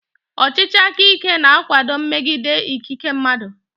Ọchịchị aka ike na-akwado mmegide ikike mmadụ.